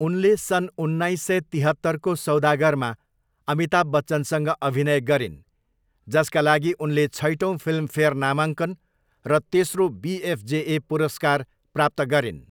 उनले सन् उन्नाइस सय तिहत्तरको सौदागरमा अमिताभ बच्चनसँग अभिनय गरिन्, जसका लागि उनले छैटौँ फिल्मफेयर नामाङ्कन र तेस्रो बिएफजेए पुरस्कार प्राप्त गरिन्।